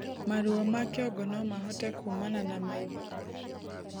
Maruo ma kĩongo nomahote kumana na maĩ tho